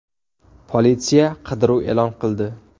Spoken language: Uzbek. Politsiya qidiruv e’lon qildi.